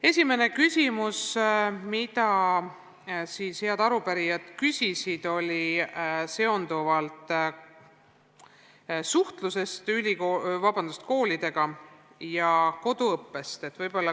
Esimene küsimus, mida head arupärijad küsisid, puudutas suhtlust koolidega koduõppe teemal.